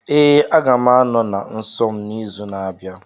Ee, aga m anọ na nsọ m n'izu na-abịa.